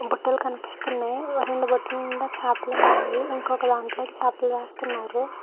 బుట్టలు కనిపిస్తునై రెండు బుట్టల నిండా చేపలు ఉన్నాయి ఇంకొక దాంట్లోకి చేపలు వేస్తున్నారు.